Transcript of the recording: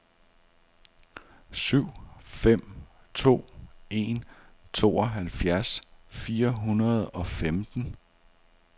syv fem to en tooghalvfjerds fire hundrede og femten